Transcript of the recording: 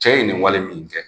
Cɛ ye nin wale min kɛ